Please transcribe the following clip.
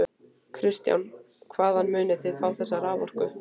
Kristján: Hvaðan munið þið fá þessa raforku?